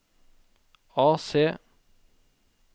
AC